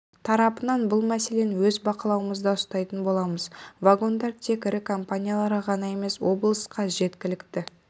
тарапынан бұл мәселені өз бақылауымызда ұстайтын боламыз вагондар тек ірі компанияларға ғана емес облысқа жеткілікті